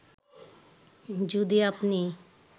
যদি আপনি